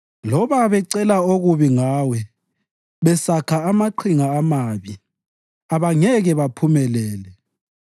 Loba beceba okubi Ngawe besakha amaqhinga amabi, abangeke baphumelele;